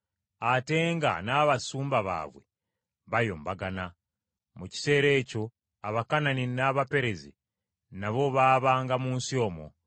ate nga n’abasumba baabwe bayombagana. Mu kiseera ekyo Abakanani n’Abaperezi nabo baabanga mu nsi omwo.